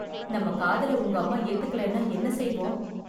நம்ம காதலை உங்க அம்மா ஏத்துக்கலைனா என்ன செய்வோம்?